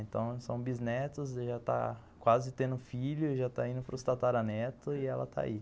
Então, são bisnetos e já está quase tendo um filho e já está indo para os tataranetos e ela está aí.